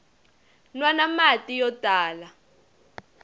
nwana mati yo tala